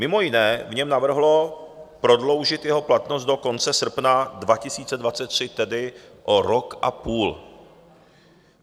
Mimo jiné v něm navrhlo prodloužit jeho platnost do konce srpna 2023, tedy o rok a půl.